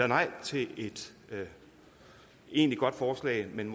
nej til et ellers egentlig godt forslag men